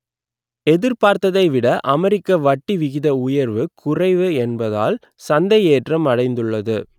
எதிர்பார்த்ததை விட அமெரிக்க வட்டி விகித உயர்வு குறைவு என்பதால் சந்தை ஏற்றம் அடைந்துள்ளது